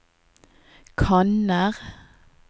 kanner